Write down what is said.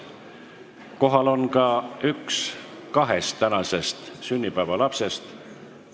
Kohal on ka üks kahest tänasest sünnipäevalapsest.